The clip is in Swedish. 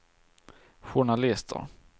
journalister